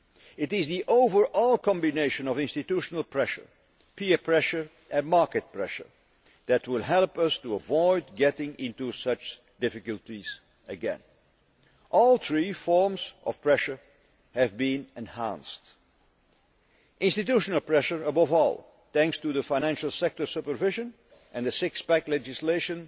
It is the overall combination of institutional pressure, peer pressure and market pressure that will help us to avoid getting into such difficulties again. All three forms of pressure have been enhanced institutional pressure above all, thanks to the financial sector supervision and the six pack legislation